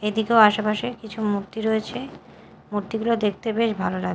এদিকেও আশেপাশে কিছু মূর্তি রয়েছে মূর্তিগুলো দেখতে বেশ ভালো লা--